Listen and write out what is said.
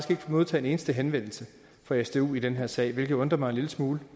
modtaget en eneste henvendelse fra sdu i den her sag hvilket undrer mig en lille smule